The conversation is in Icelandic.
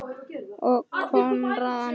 Konráð og Anna.